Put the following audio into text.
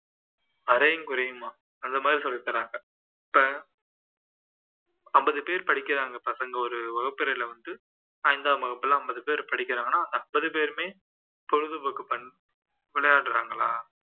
அறையுங்குறையுமா அந்த மாதிரி சொல்லித்தராங்க இப்போ ஐம்பது பேர் படிக்கிறாங்க பசங்க ஒரு வகுப்பறையில வந்து ஐந்தாம் வகுப்புல ஐம்பது பேர் படிக்கிறாங்கன்னா அந்த ஐம்பது பேருமே பொழுதுபோக்கு fun விளையாடுறாங்களா